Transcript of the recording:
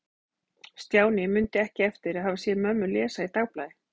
Stjáni mundi ekki eftir að hafa séð mömmu lesa í dagblaði.